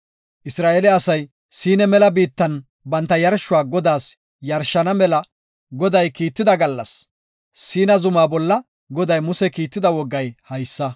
Isra7eele asay Siina mela biittan banta yarshuwa Godaas yarshana mela Goday kiitida gallas, Siina zuma bolla Goday Muse kiitida wogay haysa.